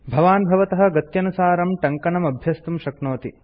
भवान् भवतः गत्यनुसारं टङ्कनमभ्यस्तुं शक्नोति